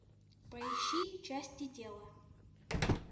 поищи части тела